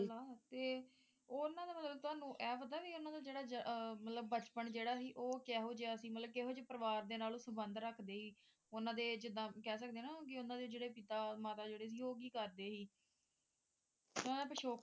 ਸਹੀ ਗੱਲ ਉਨ੍ਹਾਂ ਦਾ ਮਤਲਬ ਇਹ ਪਤਾ ਵੀ ਉਨ੍ਹਾਂ ਦਾ ਜਿਹੜਾ ਬਚਪਨ ਜਿਹੜਾ ਸੀ ਮਤਲਬ ਉਹ ਕਿਹੋ ਜਿਹਾ ਸੀ? ਮਤਲਬ ਕਿਹੋ ਜਿਹੇ ਪਰਿਵਾਰ ਨਾਲ ਸੰਬੰਧ ਰੱਖਦੇ ਸੀ ਉਨ੍ਹਾਂ ਦੇ ਜਿੱਦਾਂ ਕਹਿ ਸਕਦੇ ਹੋ ਨਾ ਕਿ ਉਨ੍ਹਾਂ ਦੇ ਪਿਤਾ ਮਾਤਾ ਜਿਹੜੇ ਸੀ ਉਹ ਕੀ ਕਰਦੇ ਸੀ ਉਨ੍ਹਾਂ ਦਾ ਪਿਛੋਕੜ ਕੀ ਸੀ?